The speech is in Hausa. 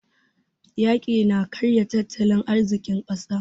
Yaƙi na karya tattalin arzikin ƙasa.